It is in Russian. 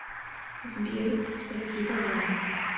сбер спасибо вам